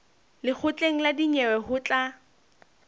lekgotleng la dinyewe ho tla